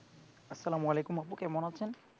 আসসালাম আলাইকুম আপু কেমন আছেন?